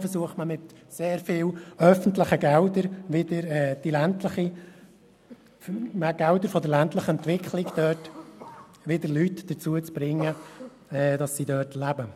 Dann versucht man mit sehr viel öffentlichen Geldern für die ländliche Entwicklung Leute dazu zu bringen, wieder dort zu leben.